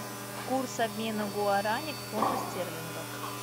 курс обмена гуарани к фунту стерлингов